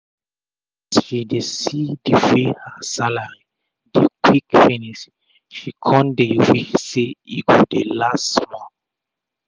as she dey see d way her salary dey quick finish she kon dey wish sey e go dey last small.